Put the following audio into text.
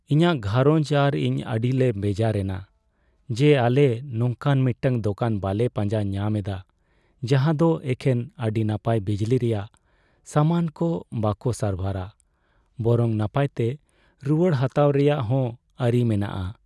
ᱤᱧᱟᱹᱜ ᱜᱷᱟᱸᱨᱚᱧᱡᱽ ᱟᱨ ᱤᱧ ᱟᱹᱰᱤᱞᱮ ᱵᱮᱡᱟᱨ ᱮᱱᱟ ᱡᱮ ᱟᱞᱮ ᱱᱚᱝᱠᱟᱱ ᱢᱤᱫᱴᱟᱝ ᱫᱳᱠᱟᱱ ᱵᱟᱝᱞᱮ ᱯᱟᱸᱡᱟ ᱧᱟᱢ ᱮᱫᱟ ᱡᱟᱦᱟᱸᱫᱚ ᱮᱠᱷᱮᱱ ᱟᱹᱰᱤ ᱱᱟᱯᱟᱭ ᱵᱤᱡᱽᱞᱤ ᱨᱮᱭᱟᱜ ᱥᱟᱢᱟᱱ ᱠᱚ ᱵᱚᱠᱚ ᱥᱟᱨᱵᱷᱟᱨᱟ ᱵᱚᱨᱚᱝ ᱱᱟᱯᱟᱭᱛᱮ ᱨᱩᱣᱟᱹᱲ ᱦᱟᱛᱟᱣ ᱨᱮᱭᱟᱜ ᱦᱚᱸ ᱟᱹᱨᱤ ᱢᱮᱱᱟᱜᱼᱟ ᱾